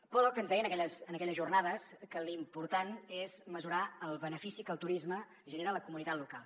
pollock ens deia en aquelles jornades que l’important és mesurar el benefici que el turisme genera a la comunitat local